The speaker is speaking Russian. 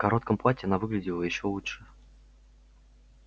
в коротком платье она выглядела ещё лучше